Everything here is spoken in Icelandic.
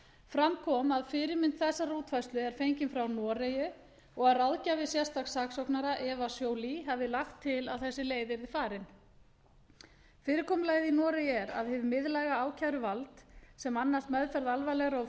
fram kom að fyrirmynd þessarar útfærslu er fengin frá noregi og að ráðgjafi sérstaks saksóknara eva joly hafi lagt til að þessi leið yrði farin fyrirkomulagið í noregi er að hið miðlæga ákæruvald sem annast meðferð alvarlegra og